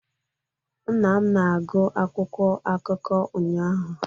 nna m na-agụ akwụkwọ akụkọ ụnyaahụ